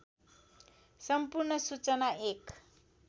सम्पूर्ण सूचना एक